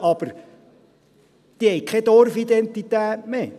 Aber diese haben keine Dorfidentität mehr.